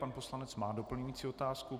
Pan poslanec má doplňující otázku.